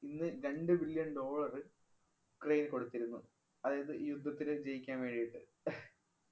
ഇന്ന് രണ്ടു billion dollar ഉക്രയിന് കൊടുത്തിരുന്നു. അതായത് ഈ യുദ്ധത്തില്‍ ജയിക്കാന്‍ വേണ്ടിട്ട്